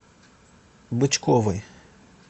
бычковой